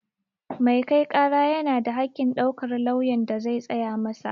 Mai kai ƙara yana da haƙƙin ɗaukar lauyan da zai tsaya masa